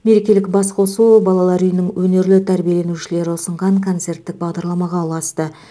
мерекелік басқосу балалар үйінің өнерлі тәрбиеленушілері ұсынған концерттік бағдарламаға ұласты